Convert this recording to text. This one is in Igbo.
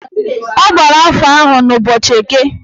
Ọ gbara afa ahụ n'ụbọchị Eke